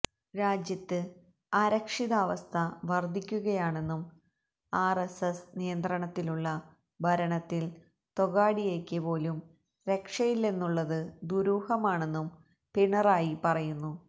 രാജ്യത്ത് അരക്ഷിതാവസ്ഥ വര്ദ്ധിക്കുകയാണെന്നും ആര്എസ്എസ് നിയന്ത്രണത്തിലുള്ള ഭരണത്തില് തൊഗാഡിയയ്ക്ക് പോലും രക്ഷയില്ലെന്നുള്ളത് ദൂരൂഹമാണെന്നും പിണറായി പറയുന്നു